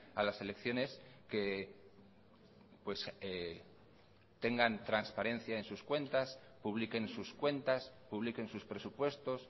a las elecciones que tengan transparencia en sus cuentas publiquen sus cuentas publiquen sus presupuestos